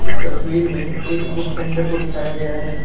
इस तस्वीर में एक बुक सेंटर को दिखाया गया है।